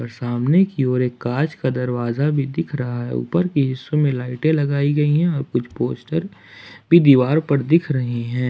सामने की ओर एक कांच का दरवाजा भी दिख रहा है ऊपर की हिस्सों में लाइटें लगाई गई है और कुछ पोस्टर भी दीवार पर दिख रहे हैं।